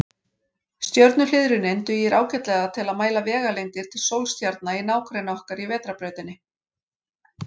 Stjörnuhliðrunin dugir ágætlega til að mæla vegalengdir til sólstjarna í nágrenni okkar í Vetrarbrautinni.